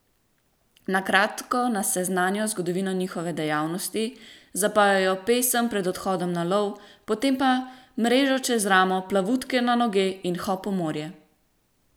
Na kratko nas seznanijo z zgodovino njihove dejavnosti, zapojejo pesem pred odhodom na lov, potem pa mrežo čez ramo, plavutke na noge in hop v morje!